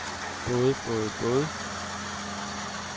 både både både